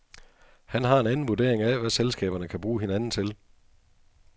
Han har en anden vurdering af, hvad selskaberne kan bruge hinanden til.